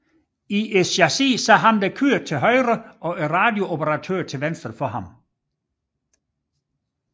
I chassiset sad køreren til højre og radiooperatøren til venstre for ham